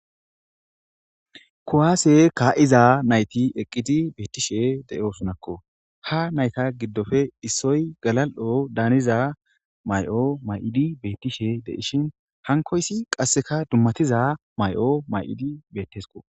kuwaase kaa7iza nayti eqqidi beettishe deyo sunakko ha nayta giddofe issoy galal7o daaniza may7o may7idi beettishe deishin hankoysi qasseka dummatiza may7o may7idi beettesko